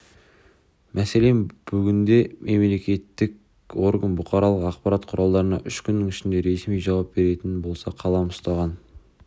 мәселен бүгінде мемлекеттік орган бұқаралық ақпарат құралдарына үш күннің ішінде ресми жауап беретін болса қалам ұстаған